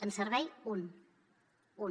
en servei un un